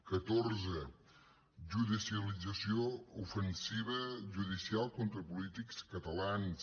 catorze judicialització ofensiva judicial contra polítics catalans